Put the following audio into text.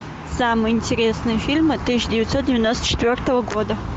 самые интересные фильмы тысяча девятьсот девяносто четвертого года